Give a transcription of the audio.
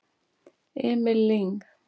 Emil Lyng